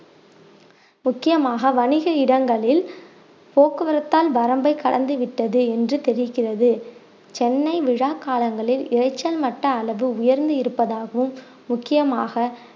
முக்கியமாக வணிக இடங்களில் போக்குவரத்தால் வரம்பை கடந்து விட்டது என்று தெரிகிறது சென்னை விழா காலங்களில் இரைச்சல் மட்ட அளவு உயர்ந்து இருப்பதாகவும் முக்கியமாக